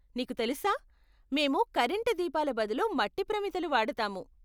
నీకు తెలుసా, మేము కరెంటు దీపాల బదులు మట్టి ప్రమిదలు వాడతాము.